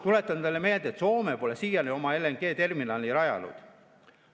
Tuletan teile meelde, et Soome pole siiani oma LNG-terminali rajanud.